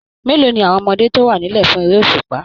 Mélòó ni àwọn ọmọdé tó wà nílẹ̀ fún eré òṣùpá?